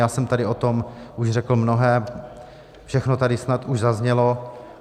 Já jsem tady o tom už řekl mnohé, všechno tady snad už zaznělo.